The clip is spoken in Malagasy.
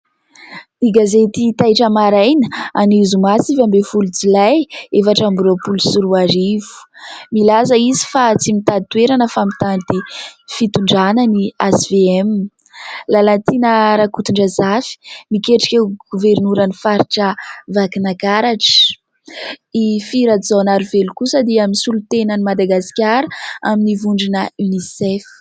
Ny gazety Taitra Maraina, anio zoma sivy abin'ny folo jolay, efatra amby roapolo sy roarivo. Milaza izy fa "tsy mitady toerana fa mitady fitondrana" ny HVM. Lalatiana RAKOTONDRAZAFY "miketrika ho governoran'ny faritra Vakinakaratra". I Fy RAJAONARIVELO kosa dia misolo tena an'i Madagasikara amin'ny vondrona "UNICEF".